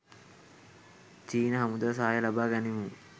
චීන හමුදා සහාය ලබා ගනිමු